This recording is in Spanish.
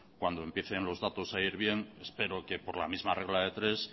cuando empiecen los datos a ir bien espero que por la misma regla de tres